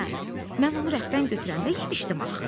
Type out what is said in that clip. Hə, mən onu rəfdən götürəndə yemişdim axı.